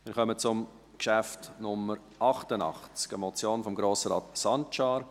Wir kommen zum Traktandum Nummer 88, eine Motion von Grossrat Sancar: